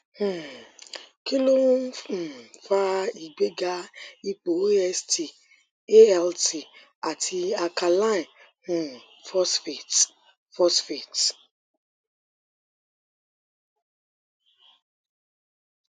um kí ló ń um fa ìgbéga ipò ast alt àti alkaline um phosphate phosphate